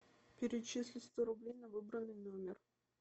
перечисли сто рублей на выбранный номер